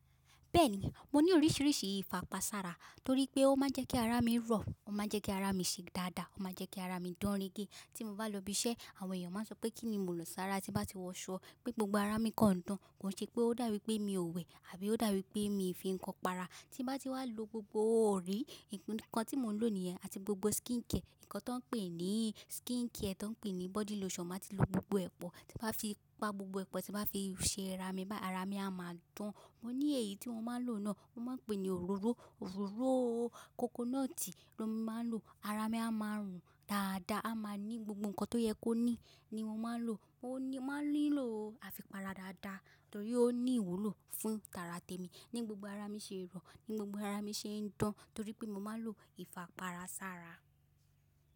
Bẹ́ẹ̀ni, mo ní oríṣiríṣi ìfapásara torí pé ó máa ń jẹ́ kí ara mi rọ́, ó máa ń jẹ́ kí ara mi ṣe dáadáa, ó máa ń jẹ́ kí ara mi dán rége. Tí mo bá lọ ibi iṣẹ́, àwọn èèyàn máa sọ pé kíni mo lọ sára, tí bá ti wọ aṣọ pé gbogbo ara mi kan n dán. Kò ṣe pé ó dàbí pé mi ò wẹ̀ àbí ó dàbí pé mi fi nǹkan para. Tí bá ti wá lo gbogbo òrí, nǹkan tí mo ń lò nìyẹn àti gbogbo skincare, nǹkan tó ń pè ní skincare, tó ń pè ní body lotion. Máa ti lo gbogbo epo, tí bá fi pa gbogbo epo tí bá fi ṣe ara mi, bá ara mi a máa dán. Mo ní èyí tí wọ́n máa ń lò náà, wọ́n máa ń pè ní òróró, òróró coconut ni mo máa ń lò. Ara mi a máa rùn dáadáa, a máa ní gbogbo nǹkan tó yẹ kó ní ni mo máa ń lò. Mo máa ń nílò àfipára dáadáa torí ó ní ìwúlò fún tàrà tèmi ní gbogbo ara mi ṣe rọ, ní gbogbo ara mi ṣe ń dán torí pé mo máa ń lo ìfaparasára.